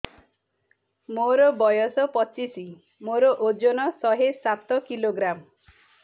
ମୋର ବୟସ ପଚିଶି ମୋର ଓଜନ ଶହେ ସାତ କିଲୋଗ୍ରାମ